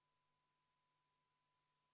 Millises vormis nemad peaksid istungisaalis käima?